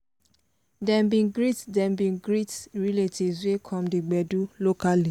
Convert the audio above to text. dem bin greet dem bin greet relatives wey come the gbedu locally.